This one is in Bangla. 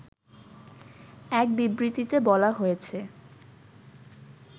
এক বিবৃতিতে বলা হয়েছে